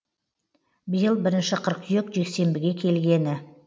биыл бірінші қыркүйек жексенбіге келгені